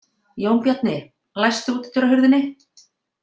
Jónbjarni, læstu útidyrahurðinni.